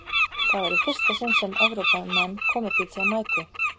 Það var í fyrsta sinn sem Evrópumenn komu til Jamaíku.